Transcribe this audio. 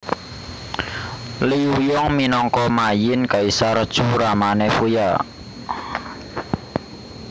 Liu Yong minangka Ma Yin Kaisar Chu ramané Fuya